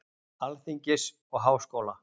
Alþingis og Háskóla.